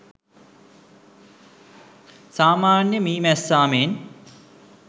සාමාන්‍ය මී මැස්සා මෙන්